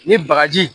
Ni bagaji